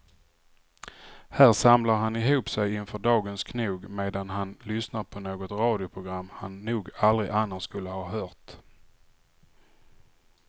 Här samlar han ihop sig inför dagens knog medan han lyssnar på något radioprogram han nog aldrig annars skulle ha hört.